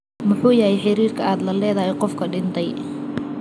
Muxuu yahay xiriirka aad la leedahay qofka dhintay?